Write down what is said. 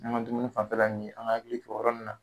An ka dumuni fanfɛla nunnu ye ,an k'an hakili to o yɔrɔ nunnu na.